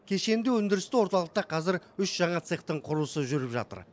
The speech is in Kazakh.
кешенді өндірісті орталықта қазір үш жаңа цехтың құрылысы жүріп жатыр